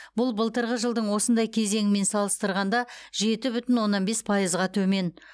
бұл былтырғы жылдың осындай кезеңімен салыстырғанда жеті бүтін оннан бес пайызға төмен